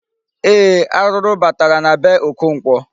Ee, arụrụ batara na be Okonkwo.